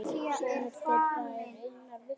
Sonur þeirra er Einar Vignir.